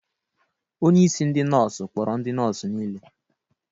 Onye isi ndị nọọsụ kpọrọ ndị nọọsụ niile.